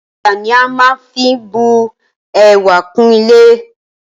Ọ̀dà ni a maá fí bu ẹwà kún ilé